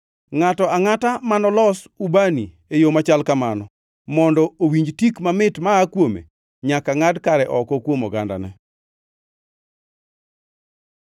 Ngʼato angʼata manolos ubani e yo machal kamano mondo owinj tik mamit ma aa kuome nyaka ngʼad kare oko kuom ogandane.”